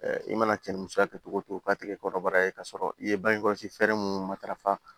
i mana cɛnnifɛn kɛ cogo o cogo k'a ti kɛ kɔnɔbara ye k'a sɔrɔ i ye bange kɔlɔsi fɛɛrɛ mun matarafa